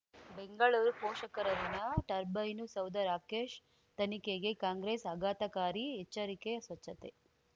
ಬೆಂಗಳೂರು ಪೋಷಕರಋಣ ಟರ್ಬೈನು ಸೌಧ ರಾಕೇಶ್ ತನಿಖೆಗೆ ಕಾಂಗ್ರೆಸ್ ಆಘಾತಕಾರಿ ಎಚ್ಚರಿಕೆ ಸ್ವಚ್ಛತೆ